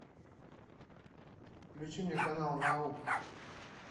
включи мне канал науку